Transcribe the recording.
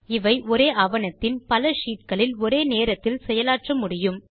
இவை ஒரே ஆவணத்தின் பல ஷீட் களில் ஒரே நேரத்தில் செயலாற்ற முடியும்